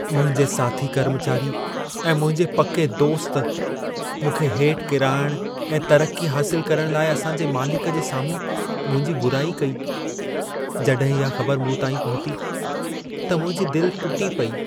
मुंहिंजे साथी कर्मचारी ऐं मुंहिंजे पके दोस्त मूंखे हेठि किराइणु ऐं तरक़्क़ी हासिल करणु लाइ असां जे मालिक जे साम्हूं मुंहिंजी बुराई कई। जॾहिं इहा ख़बर मूं ताईं पहुती त मुंहिंजी दिलि टुटी पेई।